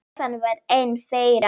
Stefán var einn þeirra.